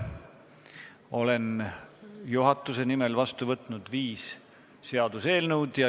Olen juhatuse nimel vastu võtnud viis seaduseelnõu.